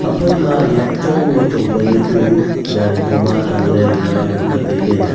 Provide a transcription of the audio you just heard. phaima nyah chong wai chong panu chu jadi khoma danle le ngan ang kap le.